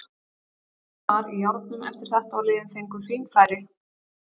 Leikurinn var í járnum eftir þetta og liðin fengu fín færi.